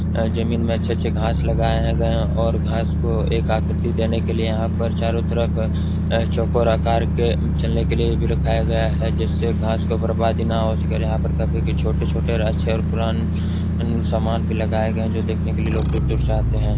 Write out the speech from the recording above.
अ जमीन में अच्छे-अच्छे घांस लगाये गए है और घास को एक आकृति देने के लिए यहाँ पर चारो तरफ अ चोकोर आकार के चलने के लिए रखाया गया है। जिससे घास की बर्बादी ना हो यहाँ पर काफी छोटे छोटे रहस्य और कुरान सामान भी लगाये गये हैं। जो देखने के लिए लोग दूर-दूर से आते हैं।